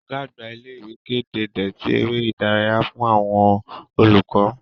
Ọ̀gá-àgbà ilé ìwé kéde déètì ère ìdárayá fún àwọn olùkọ́.